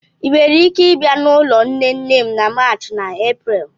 ị nwere ike ịbịa n'ụlọ nne nne m na March na Eprel?